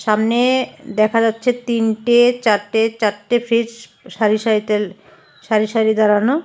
সামনে দেখা যাচ্ছে তিনটে চারটে চারটে ফ্রিজ সারি সারিতে সারি সারি দাঁড়ানো।